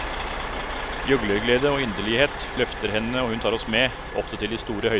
Gjøglerglede og inderlighet løfter henne og hun tar oss med, ofte til de store høyder.